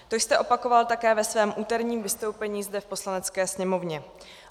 To jste opakoval také ve svém úterním vystoupení zde v Poslanecké sněmovně.